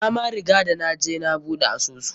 Na ma riga da naje na buɗe asusu.